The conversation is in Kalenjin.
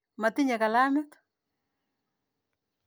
Matinye kilamit.